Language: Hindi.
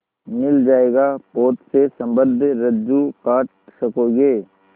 मिल जाएगा पोत से संबद्ध रज्जु काट सकोगे